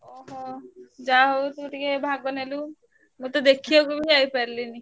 ଓହୋ ଯାହା ହଉ ତୁ ଟିକେ ଭାଗ ନେଲୁ ମୁଁ ତ ଦେଖିବାକୁ ଯାଇପାରିଲିନି।